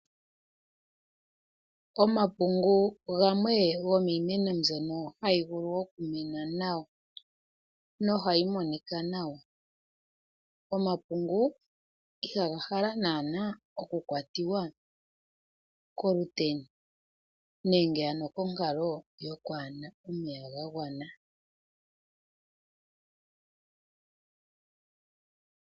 Omapungu gamwe gomiimeno mbyono hayi vulu okumena nawa, noha yi monika nawa. Omapungu ihaga hala naana okukwatiwa koluteni nenge ano konkalo yokwaana omeya ga gwana.